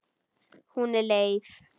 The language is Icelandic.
Hún er leið.